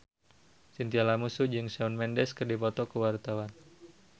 Chintya Lamusu jeung Shawn Mendes keur dipoto ku wartawan